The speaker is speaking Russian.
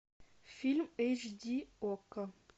фильм эйч ди окко